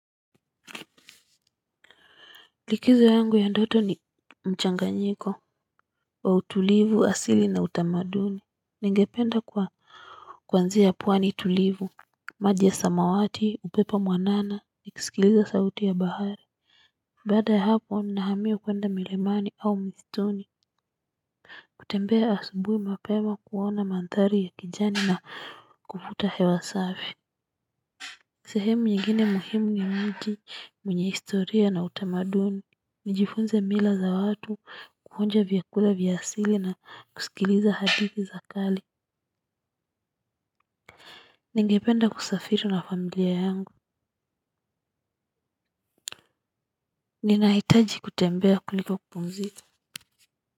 Likizo yangu ya ndoto ni mchanganyiko wa utulivu, asili na utamaduni, ningependa kwa kwanzia pwani tulivu maji ya samawati, upepo mwanana nikisikiliza sauti ya bahari baada ya hapo na hamia kwenda milimani au mistuni kutembea asubuhi mapema kuona mandhari ya kijani na kuvuta hewa safi sehemu nyingine muhimu ni mji mwenye historia na utamaduni. Nijifunze mila za watu kuonja vyakula vya asili na kusikiliza hadithi za kale. Ningependa kusafiri na familia yangu. Ninahitaji kutembea kuliko kupumzika.